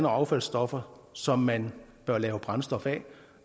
affaldsstoffer som man bør lave brændstof af